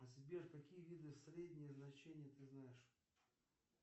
сбер какие виды среднее значение ты знаешь